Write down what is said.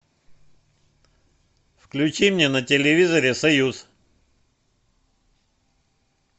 включи мне на телевизоре союз